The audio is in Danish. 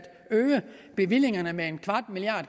øge bevillingerne med